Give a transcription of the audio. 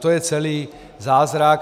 To je celý zázrak.